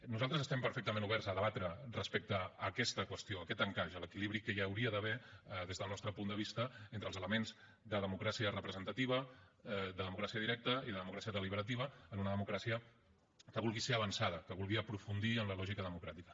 nosaltres estem perfectament oberts a debatre respecte a aquesta qüestió aquest encaix l’equilibri que hi hauria d’haver des del nostre punt de vista entre els elements de democràcia representativa democràcia directa i democràcia deliberativa en una democràcia que vulgui ser avançada que vulgui aprofundir en la lògica democràtica